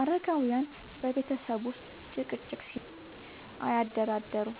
አረጋውያን በቤተሰብ ውስጥ ጭቅጭቅ ሲኖር አያደራደሩም፤